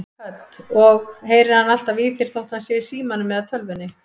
Hödd: Og heyrir hann alltaf í þér þó hann sé í símanum eða tölvunni?